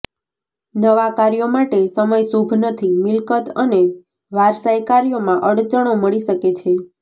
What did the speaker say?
નવા કાર્યો માટે સમય શુભ નથી મિલ્કત અને વારસાઈ કાર્યોમાં અડચણો મળી શકે છે